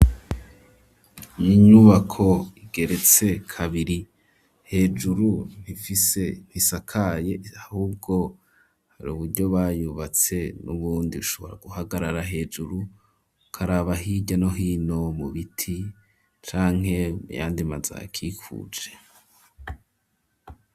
Iyinyubako igeretse kabiri, hejuru ntifise, ntisakaye ,ahubwo hari uburyo bayubatse, n'ubundi ushobora guhagarara hejuru, karaba hirya no hino mu biti ,canke muyandi mazu ahakikuje.